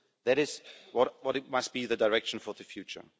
So that is what must be the direction for the future.